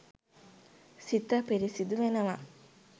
සිත පිරිසිදු වෙනවා.